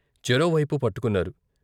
చెరోవైపు పట్టుకున్నారు.